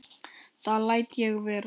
Það læt ég vera